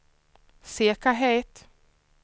säkerhet